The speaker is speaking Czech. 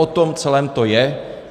O tom celém to je.